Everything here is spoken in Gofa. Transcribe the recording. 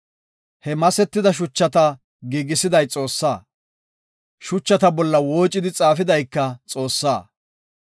He masetida shuchata giigisiday Xoossaa; shuchata bolla woocidi xaafidayka Xoossaa.